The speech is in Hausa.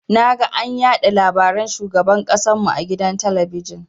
Naga an yaɗa labaran shugaban ƙasan mu a gidan talabijin.